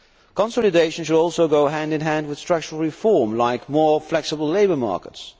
Consolidation should also go hand in hand with structural reform, like more flexible labour markets.